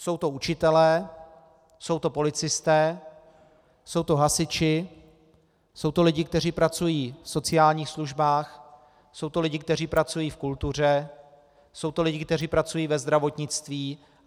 Jsou to učitelé, jsou to policisté, jsou to hasiči, jsou to lidi, kteří pracují v sociálních službách, jsou to lidi, kteří pracují v kultuře, jsou to lidi, kteří pracují ve zdravotnictví.